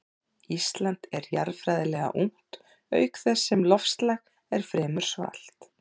Ísland er jarðfræðilega ungt auk þess sem loftslag er fremur svalt.